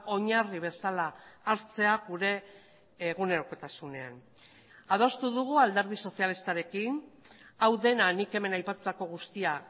oinarri bezala hartzea gure egunerokotasunean adostu dugu alderdi sozialistarekin hau dena nik hemen aipatutako guztia